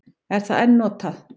Er það enn notað?